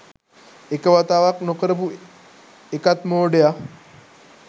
එක වතාවක් නොකරපු එකත් මෝඩය